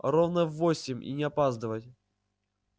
ровно в восемь и не опаздывать